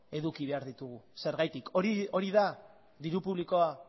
eduki behar ditugu zergatik hori da diru publikoa